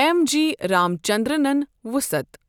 M G رامچندرنن وصعت ۔